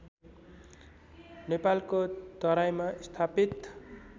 नेपालको तराईमा स्थापित